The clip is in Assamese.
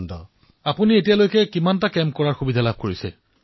প্ৰধানমন্ত্ৰীঃ কিমানটা শিবিৰত অংশগ্ৰহণ কৰিছে কলৈ কলৈ যোৱাৰ সুযোগ লাভ কৰিছে